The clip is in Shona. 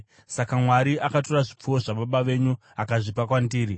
Saka Mwari akatora zvipfuwo zvababa venyu akazvipa kwandiri.